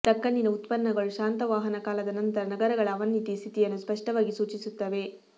ದಖನ್ನಿನ ಉತ್ಖನನಗಳು ಶಾತವಾಹನಕಾಲದ ನಂತರ ನಗರಗಳ ಅವನತಿ ಸ್ಥಿತಿಯನ್ನು ಸ್ಪಷ್ಟವಾಗಿ ಸೂಚಿಸುತ್ತವೆ